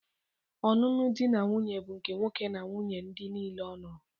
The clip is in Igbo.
Ọnụnụ di na nwunye bụ nke nwoke na nwunnye ndị nile ọ nụrụ.